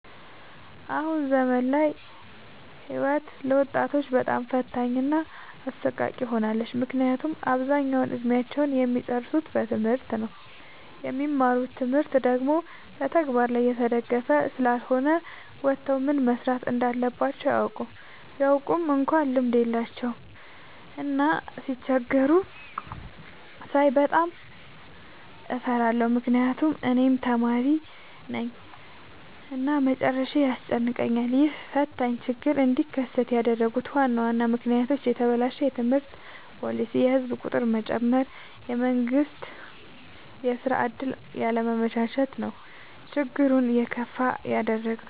አሁን ዘመን ላይ ህይወት ለወጣቶች በጣም ፈታኝ እና አሰቃቂ ሆናለች። ምክንያቱም አብዛኛውን እድሜአቸውን እሚጨርሱት በትምህርት ነው። የሚማሩት ትምህርት ደግሞ በተግበር ላይ የተደገፈ ስላልሆነ ወተው ምን መስራት እንዳለባቸው አያውቁም። ቢያውቁ እንኳን ልምድ የላቸውም። እና ሲቸገሩ ሳይ በጣም እፈራለሁ ምክንያቱም እኔም ተማሪነኝ እና መጨረሻዬ ያስጨንቀኛል። ይህ ፈታኝ ችግር እንዲከሰት ያደረጉት ዋና ዋና ምክንያቶች፦ የተበላሸ የትምህርት ፓሊሲ፣ የህዝብ ቁጥር መጨመር፣ የመንግስት የስራ ዕድል ያለማመቻቸት ነው። ችግሩን የከፋ ያደረገው።